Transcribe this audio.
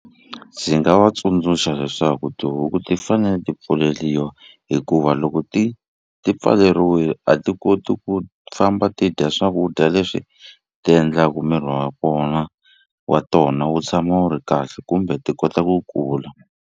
Ndzi nga va tsundzuxa leswaku tihuku ti fanele ti pfuleliwa hikuva loko ti ti pfaleriwile a ti koti ku famba ti dya swakudya leswi ti endlaku miri wa kona wa tona wu tshama wu ri kahle kumbe ti kota ku kula.